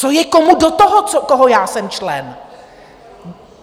Co je komu do toho, koho já jsem člen!